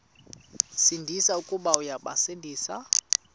sindisi uya kubasindisa